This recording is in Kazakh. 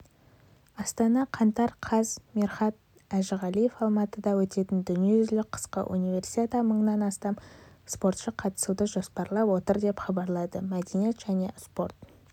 астана қаңтар қаз мирхат әжіғалиев алматыда өтетін дүниежүзілік қысқы универсиада мыңнан астам спортшы қатысуды жоспарлап отыр деп хабарлады мәдениет және спорт